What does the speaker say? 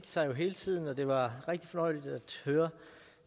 sig hele tiden og det var rigtig fornøjeligt at høre